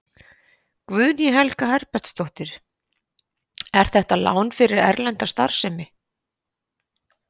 Guðný Helga Herbertsdóttir: Er þetta lán fyrir erlenda starfsemi?